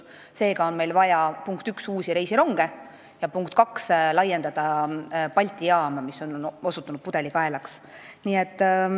Seega on meil vaja, punkt 1, uusi reisironge ja punkt 2, laiendada Balti jaama, mis on osutunud pudelikaelaks.